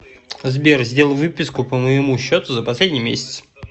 сбер сделай выписку по моему счету за последний месяц